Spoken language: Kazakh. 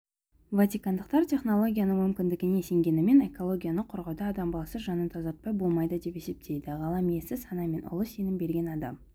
ватикандықтар технологияның мүмкіндігінде сенгенімен экологияны қорғауда адам баласы жанын тазартпай болмайды деп есептейді ғалам иесі сана мен ұлы сенім берген адам